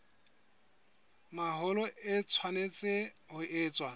mahola e tshwanetse ho etswa